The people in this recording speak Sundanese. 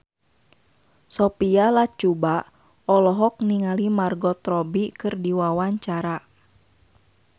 Sophia Latjuba olohok ningali Margot Robbie keur diwawancara